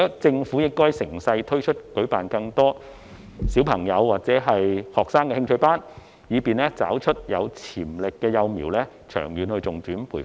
政府應該乘勢加以推動，舉辦更多小朋友或學生的興趣班，以便找出有潛力的幼苗作長遠的重點培訓。